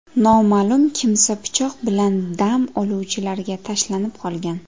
Noma’lum kimsa pichoq bilan dam oluvchilarga tashlanib qolgan.